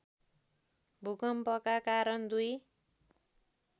भूकम्पका कारण दुई